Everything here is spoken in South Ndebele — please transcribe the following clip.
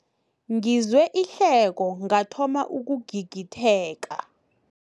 Ngizwe ihleko ngathoma ukugigitheka.